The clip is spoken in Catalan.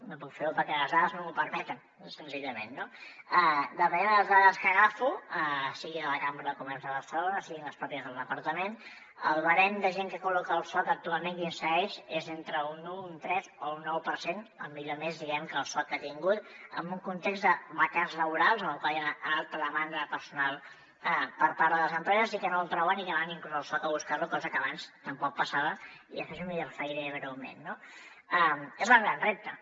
no puc fer ho perquè les dades no m’ho permeten senzillament no depenent de les dades que agafo siguin de la cambra de comerç de barcelona siguin les pròpies del departament el barem de gent que col·loca el soc actualment que insereix és entre un u un tres o un nou per cent el millor mes diguem ne que el soc ha tingut en un context de vacants laborals en el qual hi ha alta demanda de personal per part de les empreses i que no el troben i que van inclús al soc a buscar lo cosa que abans tampoc passava i després m’hi referiré breument no és el gran repte